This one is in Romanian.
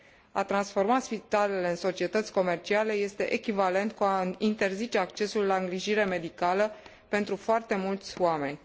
A transforma spitalele în societăți comerciale este echivalent cu a interzice accesul la îngrijire medicală pentru foarte mulți oameni.